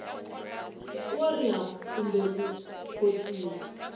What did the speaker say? wo riha kumbe ku khotsiwa